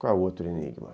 Qual é o outro enigma?